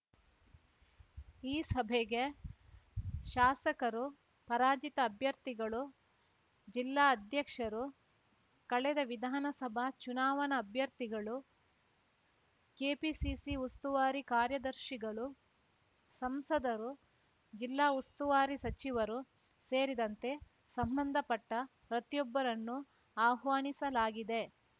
ಈ ಸಭೆಗೆ ಶಾಸಕರು ಪರಾಜಿತ ಅಭ್ಯರ್ಥಿಗಳು ಜಿಲ್ಲಾ ಅಧ್ಯಕ್ಷರು ಕಳೆದ ವಿಧಾನಸಭಾ ಚುನಾವಣಾ ಅಭ್ಯರ್ಥಿಗಳು ಕೆಪಿಸಿಸಿ ಉಸ್ತುವಾರಿ ಕಾರ್ಯದರ್ಶಿಗಳು ಸಂಸದರು ಜಿಲ್ಲಾ ಉಸ್ತುವಾರಿ ಸಚಿವರು ಸೇರಿದಂತೆ ಸಂಬಂಧಪಟ್ಟಪ್ರತಿಯೊಬ್ಬರನ್ನು ಆಹ್ವಾನಿಸಲಾಗಿದೆ